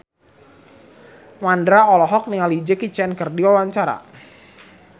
Mandra olohok ningali Jackie Chan keur diwawancara